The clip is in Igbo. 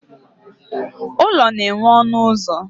Ụlọ na nwe ọnụ ụzọ